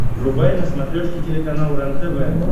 врубай на смотрешке телеканал рентв